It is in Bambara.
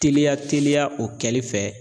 Teliya teliya o kɛli fɛ.